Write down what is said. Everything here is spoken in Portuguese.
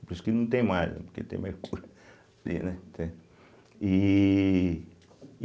Por isso que não tem mais, né, porque tem mercúrio, vê né, entende. e